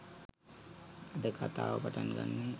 අද කතාව පටන් ගන්නේ